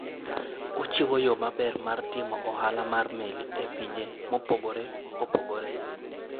Ochiwo yo maber mar timo ohala mar meli e pinje mopogore opogore.